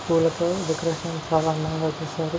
Decoration చాలా అంధమ్ గ చేశారు.